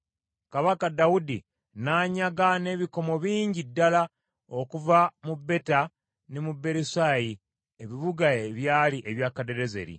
Kabaka Dawudi n’anyaga n’ebikomo bingi ddala okuva mu Beta ne mu Berosayi, ebibuga ebyali ebya Kadadezeri.